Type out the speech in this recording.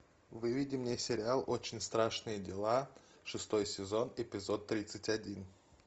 выведи мне сериал очень страшные дела шестой сезон эпизод тридцать один